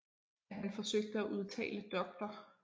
Da han forsøgte at udtale Dr